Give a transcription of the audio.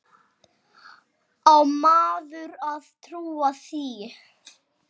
Á maður að trúa því?